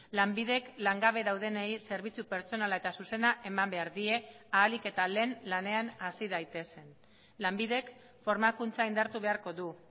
lanbidek langabe daudenei zerbitzu pertsonala eta zuzena eman behar die ahalik eta lehen lanean hasi daitezen lanbidek formakuntza indartu beharko du